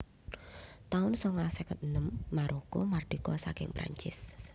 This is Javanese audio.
taun songolas seket enem Maroko mardika saking Prancis